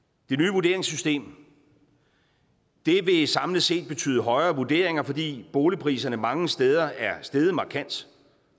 vurderingssystem vil samlet set betyde højere vurderinger fordi boligpriserne mange steder er steget markant